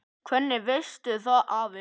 Hvernig veistu það afi?